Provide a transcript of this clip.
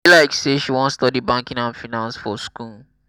e be like say she wan study banking and finance for school.